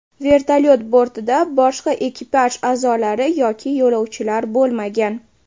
Vertolyot bortida boshqa ekipaj a’zolari yoki yo‘lovchilar bo‘lmagan.